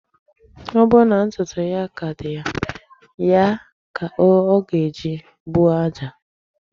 Ọ bụrụ na ntụtụ ya ka dị ya, ya ka ọ ga-eji buo aja.